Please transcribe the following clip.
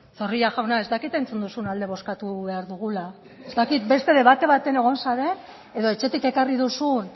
zorrilla jauna ez dakit entzun duzun alde bozkatu behar dugula ez dakit beste debate baten egon zaren edo etxetik ekarri duzun